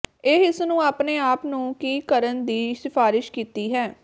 ਇਹ ਇਸ ਨੂੰ ਆਪਣੇ ਆਪ ਨੂੰ ਕੀ ਕਰਨ ਦੀ ਸਿਫਾਰਸ਼ ਕੀਤੀ ਹੈ